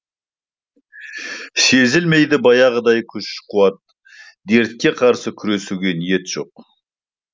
сезілмейді баяғыдай күш қуат дертке қарсы күресуге ниет жоқ